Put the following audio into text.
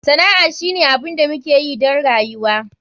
Sana'a shine abin da muke yi don rayuwa.